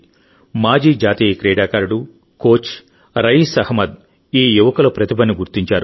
మాజీ జాతీయ క్రీడాకారుడు కోచ్ రయీస్ అహ్మద్ ఈ యువకుల ప్రతిభను గుర్తించారు